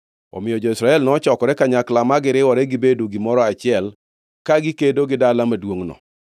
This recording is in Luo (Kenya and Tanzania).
Omiyo jo-Israel nochokore kanyakla ma giriwore gibedo gimoro achiel ka gikedo gi dala maduongʼno.